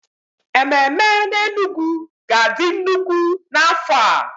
Ememe n'Enugwu ga-adị nnukwu n'afọ a.